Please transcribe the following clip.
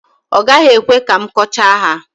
ọ gaghị ekwe ka m kọchaa ha